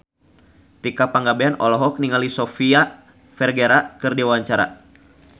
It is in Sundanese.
Tika Pangabean olohok ningali Sofia Vergara keur diwawancara